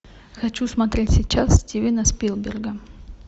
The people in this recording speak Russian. хочу смотреть сейчас стивена спилберга